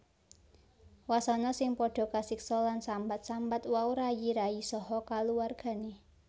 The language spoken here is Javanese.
Wasana sing padha kasiksa lan sambat sambat wau rayi rayi saha kulawargané